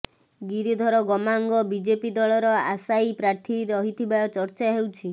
Giridhar Gamang BJP ଦଳର ଆଶାୟୀ ପ୍ରାର୍ଥୀ ରହିଥିବା ଚର୍ଚ୍ଚା ହେଉଛି